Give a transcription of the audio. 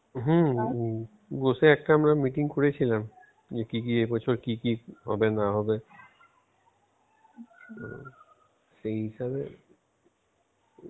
হম বসে আমরা একটা meeting করেছিলাম কি কি এবছর কি কি হবে না হবে সেই হিসাবে.